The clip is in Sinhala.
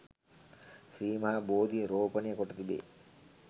ශ්‍රී මහා බෝධිය රෝපණය කොට තිබේ.